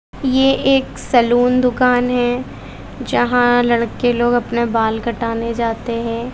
ये एक सैलून दुकान है जहां लड़के लोग अपना बाल कटाने जाते है।